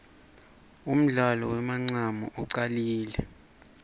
undlalo wemancamu ucalile